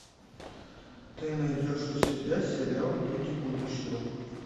ты найдешь у себя сериал люди будущего